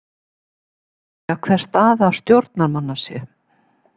Margir spyrja hver staða stjórnarmanna sé?